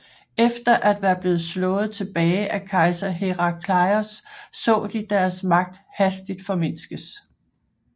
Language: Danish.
Efter at være blevet slået tilbage af kejser Herakleios så de deres magt hastigt formindskes